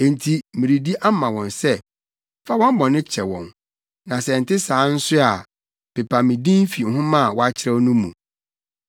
Enti meredi ama wɔn sɛ, fa wɔn bɔne kyɛ wɔn, na sɛ ɛnte saa nso a, pepa me din fi nhoma a woakyerɛw no mu.”